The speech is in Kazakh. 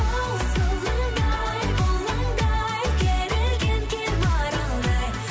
хоу сылаңдай бұлаңдай керілген кер маралдай